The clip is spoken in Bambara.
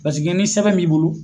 ni sɛbɛn b'i bolo